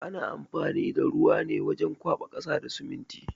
Ana amfani da ruwa ne wajen kwaɓa ƙasa da siminti.